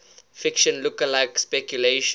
fiction lookalike speculation